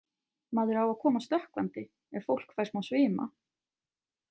Maður á að koma stökkvandi ef fólk fær smá svima.